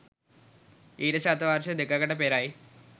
ඊට ශත වර්ෂ දෙකකට පෙරයි